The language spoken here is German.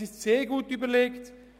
Es ist sehr gut überlegt.